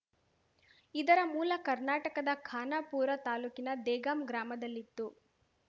ಇದರ ಮೂಲ ಕರ್ನಾಟಕದ ಖಾನಾಪೂರ ತಾಲೂಕಿನ ದೇಗಾಂ ಗ್ರಾಮದಲ್ಲಿತ್ತು